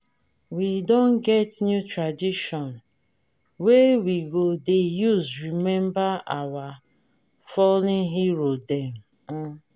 we don get new tradition wey we go dey use rememba our fallen hero dem. um